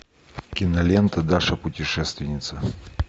кинолента даша путешественница